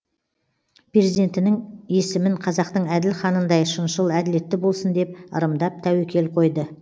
перзентінің есімін қазақтың әділ ханындай шыншыл әділетті болсын деп ырымдап тәуекел қойды